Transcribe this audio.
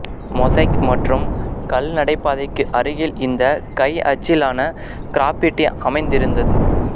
mosaic மற்றும் கல்நடைபாதைக்கு அருகில் இந்த கை அச்சிலான கிராபிட்டி அமைந்திருந்தது